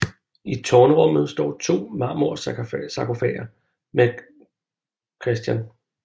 I tårnrummet står to marmorsarkofager med Chr